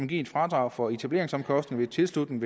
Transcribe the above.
give et fradrag for etableringsomkostninger ved tilslutning